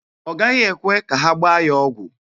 Ọ gaghị ekwe ka ha gbaa ya ọgwụ.